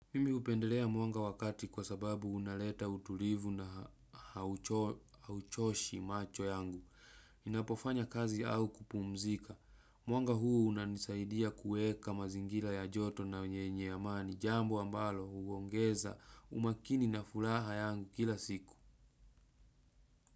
Mimi hupendelea mwanga wa kati kwa sababu unaleta utulivu na hauchoshi macho yangu. Ninapofanya kazi au kupumzika. Mwanga huu unanisaidia kueka mazingira ya joto na yenye amani. Jambo ambalo huongeza umakini na furaha yangu kila siku.